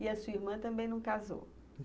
E a sua irmã também não casou.